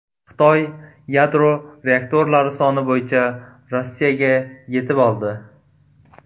Xitoy yadro reaktorlari soni bo‘yicha Rossiyaga yetib oldi.